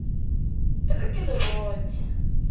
e re ke le bone